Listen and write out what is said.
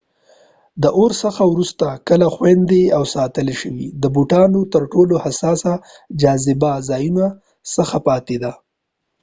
د اور څخه وروسته کلا خوندي او ساتل شوې د بوتان ترټولو حساسه جاذبه ځایونو څخه پاتې ده